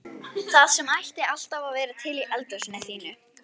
Það sem ætti alltaf að vera til í eldhúsinu þínu!